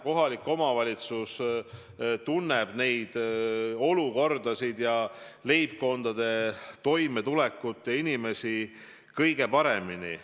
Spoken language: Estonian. Kohalik omavalitsus tunneb olukordasid ja leibkondade toimetulekut ja inimesi kõige paremini.